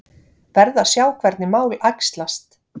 Verð að sjá hvernig mál æxlast